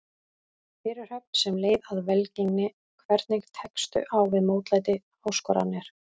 Fyrirhöfn sem leið að velgengni Hvernig tekstu á við mótlæti, áskoranir?